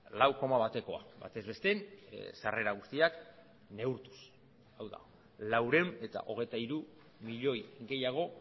lau koma batekoa batez besten sarrera guztiak neurtuz hau da laurehun eta hogeita hiru milioi gehiago